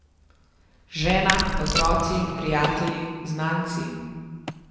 Žena, otroci, prijatelji, znanci...